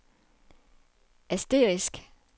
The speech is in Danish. asterisk